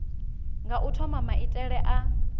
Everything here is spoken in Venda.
nga u thoma maitele a